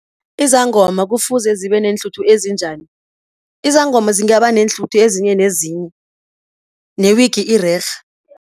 Izangoma kufuze zibe neenhluthu ezinjani? Izangoma zingaba neenhluthu ezinye nezinye, ne-wig irerhe.